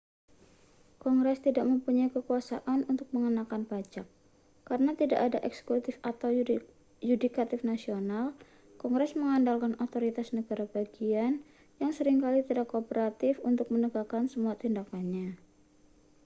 kongres tidak mempunyai kekuasaan untuk mengenakan pajak karena tidak ada eksekutif atau yudikatif nasional kongres mengandalkan otoritas negara bagian yang sering kali tidak kooperatif untuk menegakkan semua tindakannya